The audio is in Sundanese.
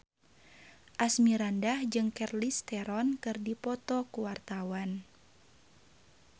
Asmirandah jeung Charlize Theron keur dipoto ku wartawan